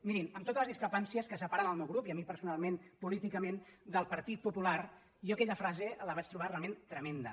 mirin amb totes les discrepàncies que separen el meu grup i a mi personalment políticament del partit popular jo aquella frase la vaig trobar realment tremenda